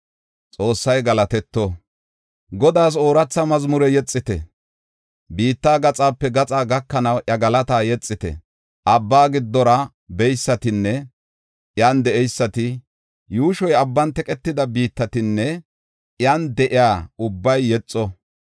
Godaas ooratha mazmure yexite; biitta gaxape gaxaa gakanaw iya galata yexite. Abba giddora beysatinne iyan de7eysati, yuushoy abban teqetida biittatinne iyan de7iya ubbay yexo.